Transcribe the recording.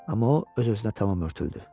Amma o öz-özünə tamam örtüldü.